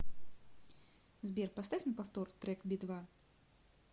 сбер поставь на повтор трек би два